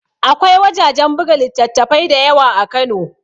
Akwai wajajen buga littattafai da yawa a kano